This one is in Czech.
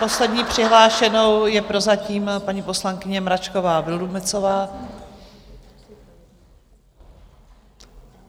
Poslední přihlášenou je prozatím paní poslankyně Mračková Vildumetzová.